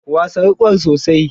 Wasa wukar sosai.